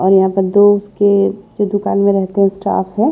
और यहाँ पर दो उस के जो दुकान में रहते हैं स्टाफ है।